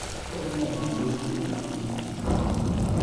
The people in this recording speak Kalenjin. Kergei kandoisiengwa mising.